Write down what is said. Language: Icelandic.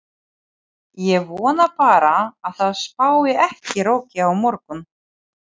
Ég vona bara að það spái ekki roki á morgun.